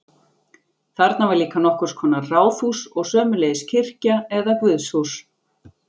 Þarna var líka nokkurs konar ráðhús og sömuleiðis kirkja eða guðshús.